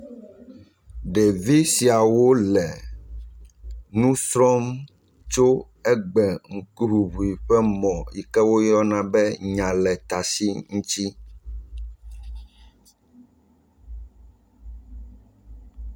Ɖevi siawo le nu srɔ̃m tso egbe ƒe ŋkuŋuŋu ƒe mɔ yi ke woyɔna be nyaletasi ŋuti.